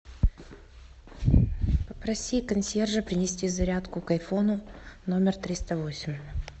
попроси консьержа принести зарядку к айфону номер триста восемь